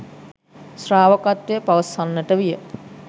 ශ්‍රාවකත්වය පවසන්නට විය